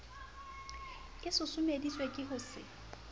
e susumeditswe ke ho se